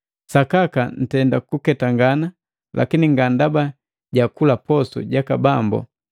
Sakaka ntenda kuketangana, lakini nga ndaba jakula posu jaka Bambo!